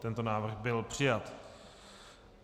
Tento návrh byl přijat.